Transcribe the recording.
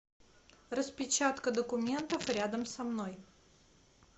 распечатка документов рядом со мной